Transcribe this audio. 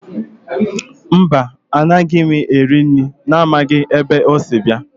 Mba, anaghị m eri nri amaghị m ebe o si bịa